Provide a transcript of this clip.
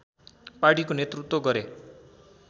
पार्टीको नेतृत्व गरे